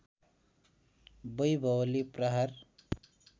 बैभवले प्रहार